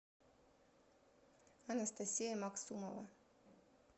анастасия магсумова